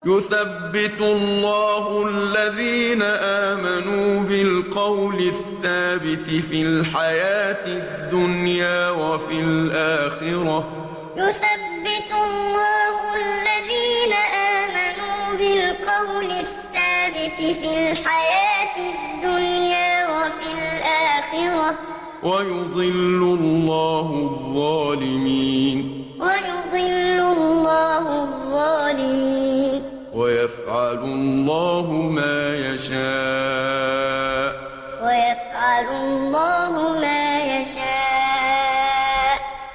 يُثَبِّتُ اللَّهُ الَّذِينَ آمَنُوا بِالْقَوْلِ الثَّابِتِ فِي الْحَيَاةِ الدُّنْيَا وَفِي الْآخِرَةِ ۖ وَيُضِلُّ اللَّهُ الظَّالِمِينَ ۚ وَيَفْعَلُ اللَّهُ مَا يَشَاءُ يُثَبِّتُ اللَّهُ الَّذِينَ آمَنُوا بِالْقَوْلِ الثَّابِتِ فِي الْحَيَاةِ الدُّنْيَا وَفِي الْآخِرَةِ ۖ وَيُضِلُّ اللَّهُ الظَّالِمِينَ ۚ وَيَفْعَلُ اللَّهُ مَا يَشَاءُ